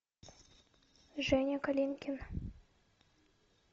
женя калинкин